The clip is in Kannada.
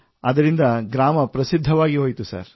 ಅದರಿಂದ ಗ್ರಾಮ ಪ್ರಸಿದ್ಧವಾಗಿ ಹೋಯಿತು ಸರ್